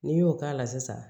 N'i y'o k'a la sisan